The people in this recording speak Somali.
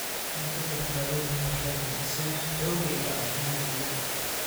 Cunto badbaado leh waxay kordhisaa xoogga iyo caafimaadka jidhka.